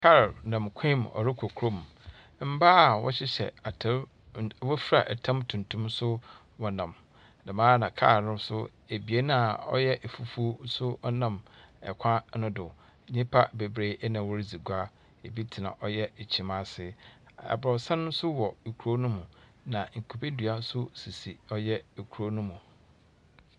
Kar nam kwan mu ɔrekɔ kuro mu. Mbaa a wɔhyehyɛ atar, wofura tam tuntum nso wɔnam. Dɛm ara na kar abien a ɔyɛ fufuw nso ɔnam kwan no do. Nnyipa bebree na wɔredzi gua. Ebi tena ɔyɛ kyim ase. Abrɔsan nso wɔ kurow no mu. Na kubedua nso sisi ɔyɛ kurow no mu.